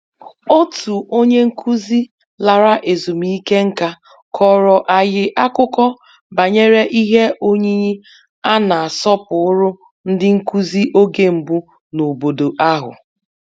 Otu onye nkụzi lara ezumike nká kọrọ anyị akụkọ banyere ihe oyiyi a na-asọpụrụ ndị nkụzi oge mbụ n'obodo ahụ